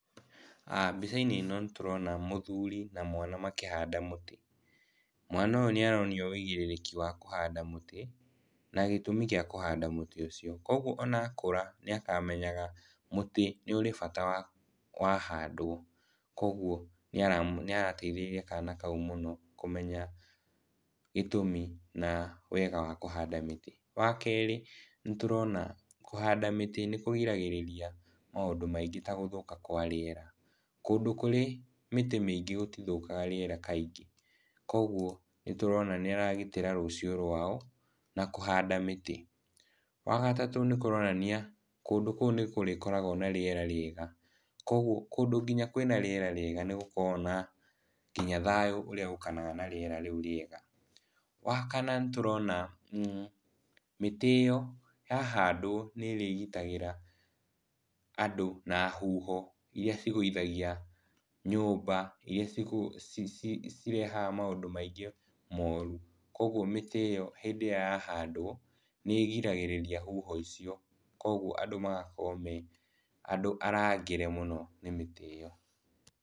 Mbica-inĩ ĩno nĩtũrona mũthuri na mwana makĩhanda mũtĩ. Mwana ũyũ nĩaronio wũigĩrĩrĩki wa kũhanda mũtĩ na gĩtũmi gĩa kũhanda mũtĩ ũcio koguo ona akũra nĩakamenyaga mũtĩ nĩ ũrĩ bata wahandwo. Koguo nĩarateithĩrĩria kana kau mũno kũmenya gĩtũmi na wega wa kũhanda mĩtĩ. Wakerĩ nĩtũrona kũhanda mĩtĩ nĩkũgiragĩrĩria maũndũ maingĩ ta gũthũka kwa rĩera, kũndũ kũrĩ mĩtĩ mĩingĩ gũtithũkaga rĩera kaingĩ koguo nĩtũrona nĩ aragitĩra rũciũ rwao na kũhanda mĩtĩ. Wagatatũ nĩkũronania kũndũ kũu nĩkũrĩkoragwo na rĩera rĩega koguo kũndũ gũkoragwo na rĩera rĩega nĩgũkoragwo nginya na thayũ ũrĩa ũkanaga na rĩera rĩu rĩega. Wakana nĩtũrona mĩtĩ ĩyo yahandwo nĩrĩgitagĩra andũ na huho iria igũithagia nyũmba iria cirehaga maũndũ maingĩ moru koguo mĩtĩ ĩyo hĩndĩ ĩrĩa yahandwo nĩĩgiragĩrĩria huho icio koguo andũ magakorwo mee andũ arangĩre mũno nĩ mĩtĩ ĩyo.